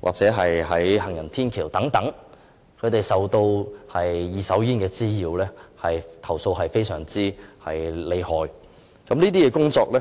或行人天橋等地方，均受到"二手煙"的滋擾，我們接獲大量這方面的投訴。